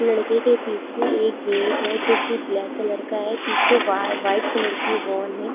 लड़के के पीछे एक गेट है जो की ब्लैक कलर का है पीछे वा वाइट कलर की वॉल है।